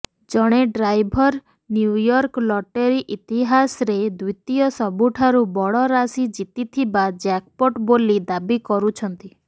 ଜଣେ driver New York lottery ଇତିହାସରେ ଦ୍ୱିତୀୟ ସବୁଠାରୁ ବଡ଼ ରାଶି ଜିତିଥିବା ଜ୍ୟାକ୍ପଟ ବୋଲି ଦାବି କରୁଛନ୍ତି